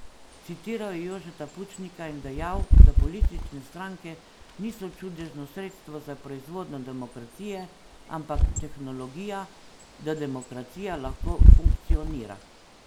Citiral je Jožeta Pučnika in dejal, da politične stranke niso čudežno sredstvo za proizvodnjo demokracije, ampak tehnologija, da demokracija lahko funkcionira.